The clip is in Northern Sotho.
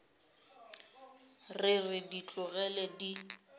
re re di tlogele di